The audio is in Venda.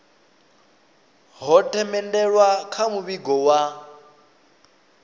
ho themendelwa kha muvhigo wa